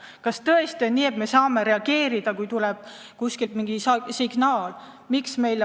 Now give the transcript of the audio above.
Kas tõesti on nii, et me saame reageerida vaid siis, kui kuskilt tuleb mingi signaal?